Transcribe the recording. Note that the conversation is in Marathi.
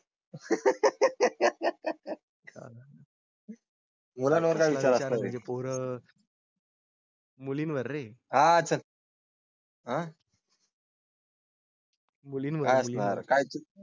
पोरं मुलींवर रे, अच्छा. हा. काय असणार